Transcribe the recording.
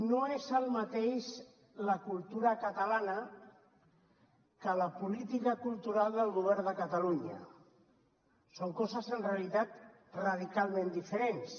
no és el mateix la cultura catalana que la política cultural del govern de catalunya són coses en realitat radicalment diferents